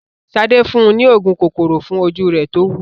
Sadé fún un ní òògùn kòkòrò fún ojú rẹ̀ tówú.